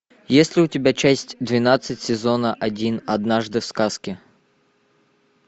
есть ли у тебя часть двенадцать сезона один однажды в сказке